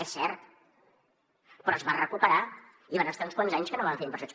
és cert però es va recuperar i van estar uns quants anys que no van fer inversions